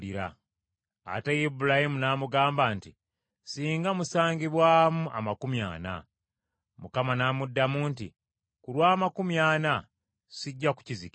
Ate Ibulayimu n’amugamba nti, “Singa musangibwamu amakumi ana.” N’amuddamu nti, “Ku lw’amakumi ana sijja kukizikiriza.”